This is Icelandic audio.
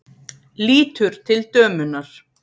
Lítur til dömunnar.